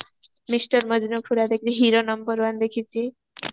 mister Majnu ପୁରା ଦେଖିଚି hero number one ଦେଖିଚି